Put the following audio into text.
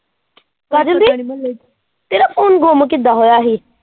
ਕਾਜਲ ਦੀ ਤੇਰਾ phone ਗੁੰਮ ਕਿੱਦਾਂ ਹੋਇਆ ਸੀ।?